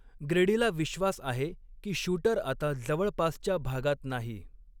ग्रेडीला विश्वास आहे की शूटर आता जवळपासच्या भागात नाही.